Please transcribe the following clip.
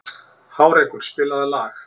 Hárekur, spilaðu lag.